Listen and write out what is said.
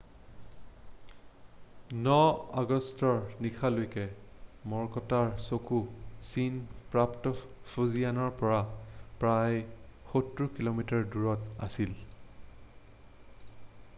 9 আগষ্টৰ নিশালৈকে ম'ৰকটৰ চকু চীন প্ৰাপ্ত ফুজিয়ানৰ পৰা প্ৰায় সত্তৰ কিলোমিটাৰ দূৰত আছিল৷